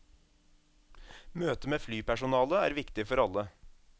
Møtet med flypersonalet er viktig for alle.